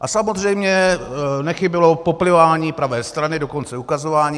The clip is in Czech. A samozřejmě nechybělo poplivání pravé strany, dokonce ukazování.